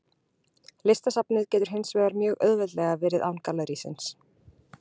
Listasafnið getur hins vegar mjög auðveldlega verið án gallerísins.